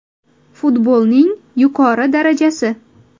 Futbolning yuqori darajasi.